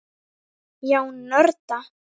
Já, nörda.